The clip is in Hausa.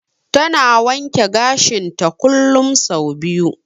Ta na wanke gashinta kullum sau biyu.